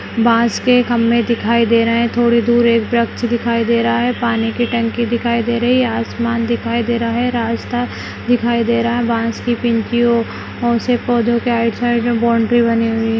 बांस के खंभे दिखाई दे रहे हैं थोड़ी दूर एक वृक्ष दिखाई दे रहा है पानी की टंकी दिखाई दे रही है आसमान दिखाई दे रहा है रास्ता दिखाई दे रहा है बांस की से पौधों के राइट साइड में बॉउंड्री बनी हुई ह --